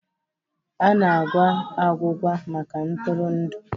A na-agwa agwụgwa maka ntụrụndụ.